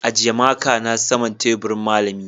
ajiye makan a saman teburin malami.